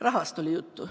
Rahast oli juttu.